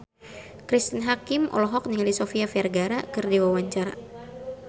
Cristine Hakim olohok ningali Sofia Vergara keur diwawancara